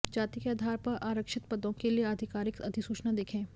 जाति के आधार पर आरक्षित पदों के लिए आधिकारिक अधिसूचना देखें